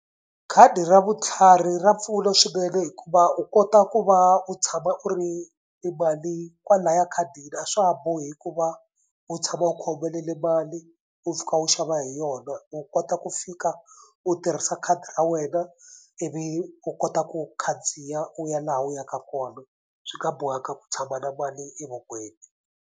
Khadi ra vutlhari ra mpfula swinene hikuva u kota ku va u tshama u ri ni mali kwalaya khadi a swa ha bohi hikuva u tshama u khomelele mali u fika u xava hi yona. U kota u ku fika u tirhisa khadi ra wena ivi u kota ku khandziya u ya laha u yaka kona swi nga bohanga ku tshama na mali evokweni.